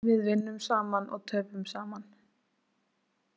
Við vinnum saman og töpum saman